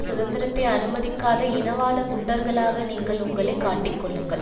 சுதந்திரத்தை அனுமதிக்காத இனவாத குண்டர்களாக நீங்கள் உங்களை காட்டிக்கொள்ளுங்கள்